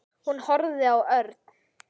Hún horfði á Örn.